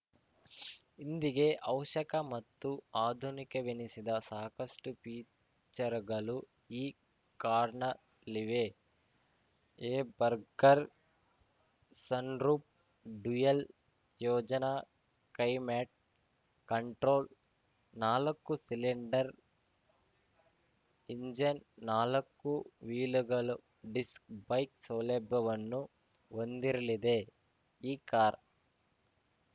ಇಂದಿಗೆ ಅವಶ್ಯಕ ಮತ್ತು ಆಧುನಿಕವೆನಿಸಿದ ಸಾಕಷ್ಟುಫೀಚರ್‌ಗಳು ಈ ಕಾರ್‌ನಲ್ಲಿವೆ ಏರ್‌ಬರ್ಗರ್ ಸನ್‌ರೂಫ್‌ ಡ್ಯುಯಲ್‌ ಯೋಜನಾ ಕ್ಲೈಮ್ಯಾಟ್‌ ಕಂಟ್ರೋಲ್ ನಾಲಕ್ಕು ಸಿಲೆಂಡರ್‌ ಇಂಜಿನ್‌ ನಾಲಕ್ಕು ವೀಲ್‌ಗಳಲ್ಲೂ ಡಿಸ್‌ ಬ್ರೇಕ್‌ ಸೌಲಭ್ಯವನ್ನು ಹೊಂದಿರಲಿದೆ ಈ ಕಾರ್‌